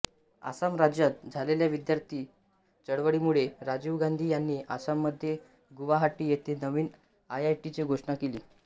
आसाम राज्यात झालेल्या विद्यार्थी चळवळीमुळे राजीव गांधी यांनी आसाममध्ये गुवाहाटी येथे नवीन आयआयटीची घोषणा केली